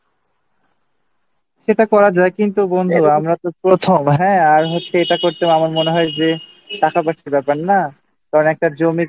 সেটা করা যায় কিন্তু বন্ধু আমরা তো প্রথম হ্যাঁ আর হচ্ছে এটা করতেও আমার মনে হয় যে টাকা পয়সার ব্যাপার না কারণ একটা জমির না